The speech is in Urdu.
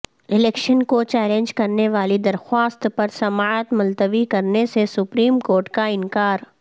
الیکشن کو چیلنج کرنے والی درخواست پر سماعت ملتوی کرنے سے سپریم کورٹ کا انکار